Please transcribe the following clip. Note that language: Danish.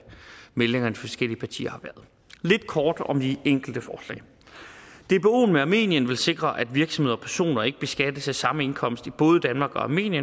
meldingerne forskellige partier har været lidt kort om de enkelte forslag dboen med armenien vil sikre at virksomheder og personer ikke beskattes af samme indkomst i både danmark og armenien